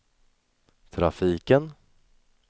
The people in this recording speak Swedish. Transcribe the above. trafiken